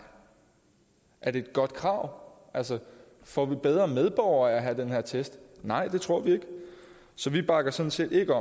er det er godt krav får vi bedre medborgere af at have den her test nej det tror vi ikke så vi bakker sådan set ikke